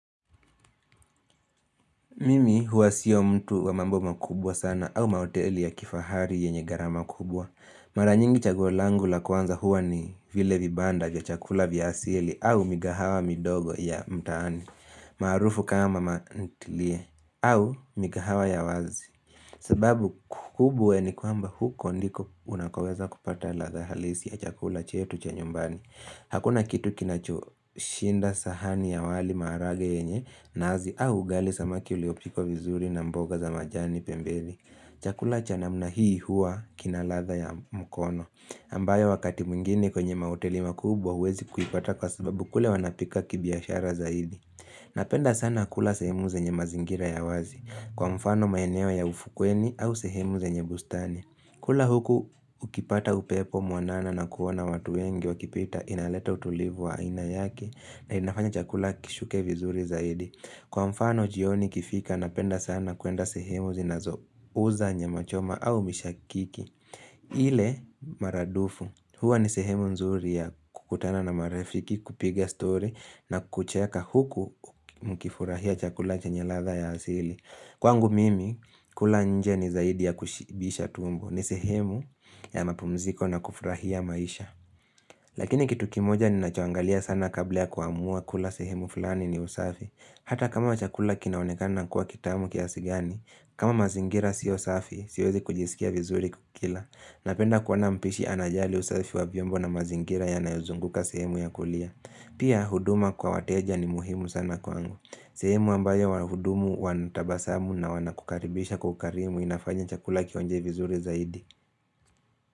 Mimi huwa sio mtu wa mambo makubwa sana au mahoteli ya kifahari yenye gharama kubwa. Mara nyingi chaguo langu la kwanza huwa ni vile vibanda vya chakula vya asili au mikahawa midogo ya mtaani. Marrufu kama mantilie au mikahawa ya wazi. Sebabu kubwa ni kwamba huko ndiko unakoweza kupata radha halisi ya chakula chetu cha nyumbani. Hakuna kitu kinacho shinda sahani ya wali maharage yenye naazi au ugali samaki uliopiko vizuri na mboga za majani pembeni. Chakula cha namna hii hua kina radha ya mkono ambayo wakati mwingini kwenye mahoteli makubwa wezi kuipata kwa sababu kule wanapika kibiashara zaidi. Napenda sana kula sehemu zenye mazingira ya wazi kwa mfano maeneo ya ufukweni au sehemu zenye bustani. Kula huku ukipata upepo mwanana na kuona watu wengi wakipita inaleta utulivu wa aina yaki na inafanya chakula kishuke vizuri zaidi. Kwa mfano jioni ikifika napenda sana kuenda sehemu zinazo uza nyama choma au mishakiki. Ile maradufu huwa ni sehemu nzuri ya kukutana na marafiki kupiga story na kucheka huku mkifurahia chakula chanye radha ya asili. Kwangu mimi, kula nje ni zaidi ya kushibisha tumbo ni sehemu ya mapumziko na kufurahia maisha Lakini kitu kimoja ninachoangalia sana kabla kuamua kula sehemu fulani ni usafi Hata kama wa chakula kinaonekana kuwa kitamu kiasi gani kama mazingira sio safi, siwezi kujisikia vizuri kukila Napenda kuwana mpishi anajali usafi wa vyombo na mazingira ya nayuzunguka sehemu ya kulia Pia, huduma kwa wateja ni muhimu sana kwangu sehemu ambayo wahudumu wanatabasamu na wanakukaribisha kwa ukarimu inafanya chakula kionje vizuri zaidi.